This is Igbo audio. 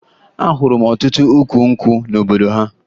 Ahụrụ m ọtụtụ ukwu nkwụ n'obodo ha